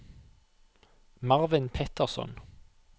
Marvin Petterson